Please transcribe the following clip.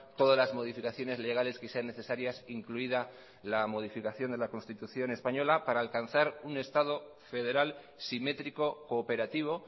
todas las modificaciones legales que sean necesarias incluida la modificación de la constitución española para alcanzar un estado federal simétrico cooperativo